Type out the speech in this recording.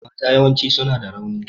Mata yawanci suna da rauni.